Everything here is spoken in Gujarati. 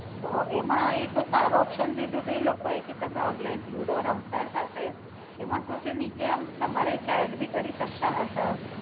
તો એમા ઈ તો સારો ઓપસ્ન દીધું તું ઈ લોકો એ કે તમે ઓનલાઇન લુડો રમતા તે એમાં શું છે નીચે આમ તમારે આમ ચેટ ભી કરી શકતા હતા.